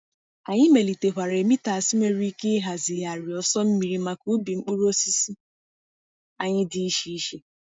Anyị melitekwara emitters nwere ike ịhazigharị ọsọ mmiri maka ubi mkpụrụ osisi anyị dị iche iche.